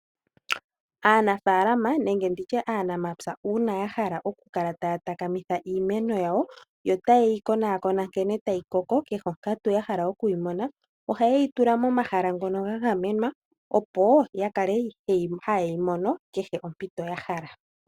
Aanafalama nenge nditye aanamapya uuna ya hala okukala taya takamitha iimeno yo taye yi konakona nkene tayi koko kehe onkatu ya hala oku yi mona ohaye yi tula momahala ngono ga gamenwa opo ya kale haye yi mono kehe kompito ya hala.